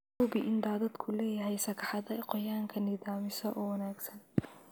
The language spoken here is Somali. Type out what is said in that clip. Hubi in daadadku leeyahay sagxadda qoyaanka nidaamisa oo wanaagsan.